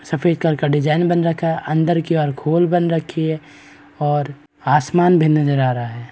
सफ़ेद कलर का डिज़ाइन बन रखा है। अंदर की ओर एक खोल बन रखी है और आसमान भी नजर आ रहा है।